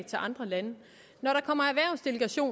til andre lande